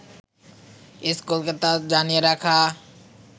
স্কুলকে তা জানিয়ে রাখা